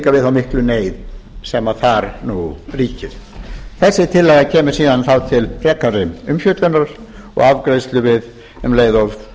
þá miklu neyð sem þar nú ríkir þessi tillaga kemur síðan þá til frekari umfjöllunar og afgreiðslu um leið og